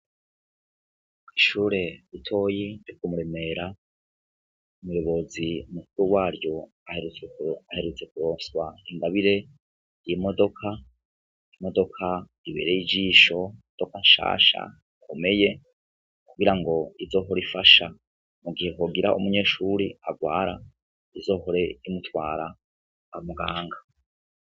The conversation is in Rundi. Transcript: Koishure butoyi nti kumuremera umuyobozi umukuru waryo aherutze kuroswa ingabire yimodoka imodoka ibereye ijisho odoka nsasha akomeye kugira ngo izohora ifasha mu gihe hogira umunyeshuri agwara uzohoree imutwara amuganga.